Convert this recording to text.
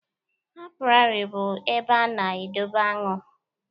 Apiary bụ ebe a na-edobe aṅụ.